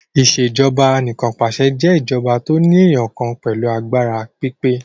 Ìṣèjọba Anìkanpàṣẹ jé ìjọba tó eniyan kan pẹlu àgbàrá pípé.